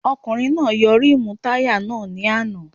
Ọkùnrin náà yọ rímùù táyà náà ní àná